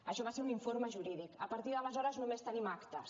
això va ser un informe jurídic a partir d’aleshores només tenim actes